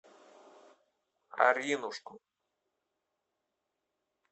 аринушку